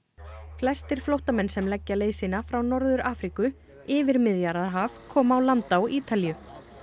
flestir flóttamenn sem leggja leið sína frá Norður Afríku yfir Miðjarðarhaf koma á land á Ítalíu